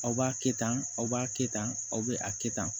Aw b'a kɛ tan aw b'a kɛ tan aw bɛ a kɛ tan